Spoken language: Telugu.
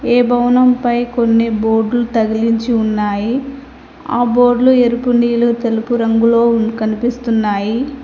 ఈ భవనంపై కొన్ని బోడ్లు తగిలించి ఉన్నాయి ఆ బోర్డు లు ఏరుపు నీలు తెలుపు రంగులో కనిపిస్తున్నాయి.